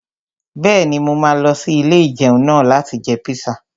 Bẹ́ẹ̀ni, mo máa lọ sí ilé-ìjẹun náà láti jẹ píṣà